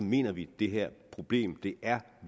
mener vi at det her problem er